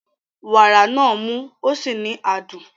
Wàrà náà mú ó sì ní adùn.